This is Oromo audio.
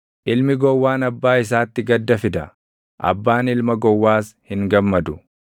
Ilmi gowwaan abbaa isaatti gadda fida; abbaan ilma gowwaas hin gammadu.